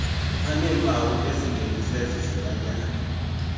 aneempawu ezingeniswe zizilwanyana